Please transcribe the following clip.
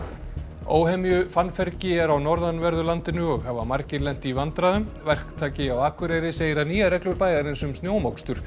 óhemju fannfergi er á norðanverðu landinu og hafa margir lent í vandræðum verktaki á Akureyri segir að nýjar reglur bæjarins um snjómokstur